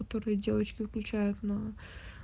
которые девочки включают на